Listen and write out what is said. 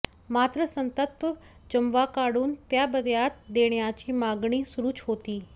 मात्र संतप्त जमावाकडून ताब्यात देण्याची मागणी सुरूच होती